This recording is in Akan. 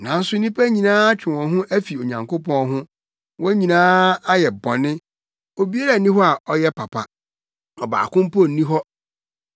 Nanso nnipa nyinaa atwe wɔn ho afi Onyankopɔn ho; wɔn nyinaa ayɛ bɔne. Obiara nni hɔ a ɔyɛ papa. Ɔbaako mpo nni hɔ.